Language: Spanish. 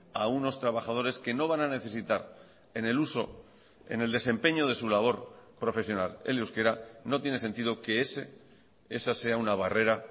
a unos trabajadores que no van a necesitar en el uso en el desempeño de su labor profesional el euskera no tiene sentido que ese esa sea una barrera